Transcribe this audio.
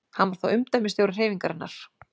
Hann var þá umdæmisstjóri hreyfingarinnar.